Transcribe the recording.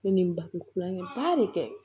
Ne ni n ba kulonkɛ ba de kɛ